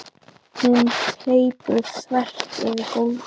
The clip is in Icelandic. Hún hleypur þvert yfir gólfið.